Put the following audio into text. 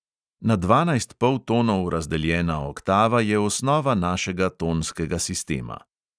Na dvanajst poltonov razdeljena oktava je osnova našega tonskega sistema.